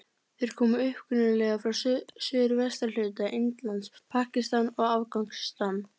Þeir koma upprunalega frá suðvesturhluta Indlands, Pakistan og Afganistan.